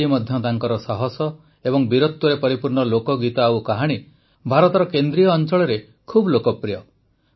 ଆଜି ମଧ୍ୟ ତାଙ୍କର ସାହସ ଏବଂ ବୀରତ୍ୱରେ ପରିପୂର୍ଣ୍ଣ ଲୋକଗୀତ ଓ କାହାଣୀ ଭାରତର କେନ୍ଦ୍ରୀୟ ଅଂଚଳରେ ବହୁତ ଲୋକପ୍ରିୟ